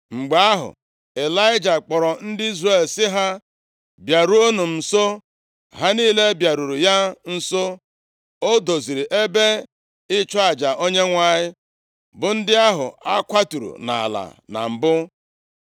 Mgbe ahụ, Ịlaịja kpọrọ ndị Izrel sị ha, “Bịaruenụ m nso.” Ha niile bịaruru ya nso, o doziri ebe ịchụ aja Onyenwe anyị, bụ ndị ahụ a kwaturu nʼala na mbụ.